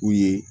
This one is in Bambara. U ye